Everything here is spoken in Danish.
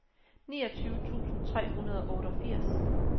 niogtyve tusind tre hundrede og otteogfirs